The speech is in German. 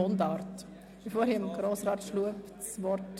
Das Wort hat Grossrat Schlup, SVP.